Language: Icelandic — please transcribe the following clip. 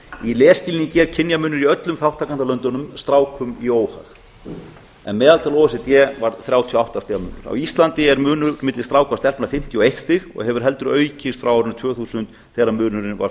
í lesskilningi er kynjamunur í öllum þátttakendalöndunum strákum í óhag en meðaltal o e c d var þrjátíu og átta stiga munur á íslandi er munur milli stráka og stelpna fimmtíu og eitt stig og hefur heldur aukist frá árinu tvö þúsund þegar munurinn var